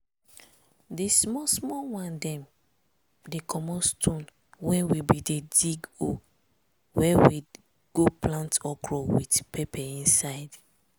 di small small one dem dey comot stone wen we bin dey dig hole wey we go plant okro with pepper inside.